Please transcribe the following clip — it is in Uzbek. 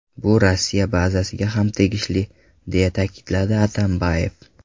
Bu Rossiya bazasiga ham tegishli”, deya ta’kidladi Atambayev.